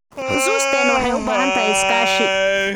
Xusuusteena waxay u baahan tahay iskaashi.